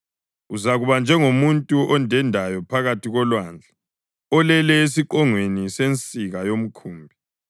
Uzakuba njengomuntu ondendayo phakathi kolwandle, olele esiqongweni sensika yomkhumbi.